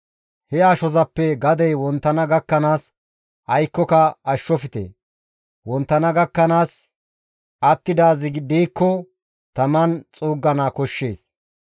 He ashozappe gadey wonttana gakkanaas aykkoka ashshofte. Wonttana gakkanaas attidaazi diikko taman xuuggana koshshees.